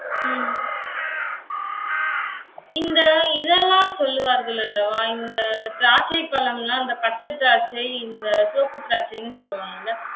உம் இந்த இதெல்லாம் சொல்லுவார்கள் அல்லவா, இந்த திராட்சை பழமெல்லாம் இந்த பச்சை திராட்சை, இந்த சிவப்பு திராட்சைன்னு சொல்லுவாங்கல்ல